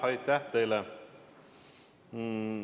Aitäh teile!